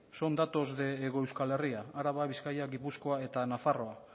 son datos de hego euskal herria araba bizkaia gipuzkoa eta nafarroa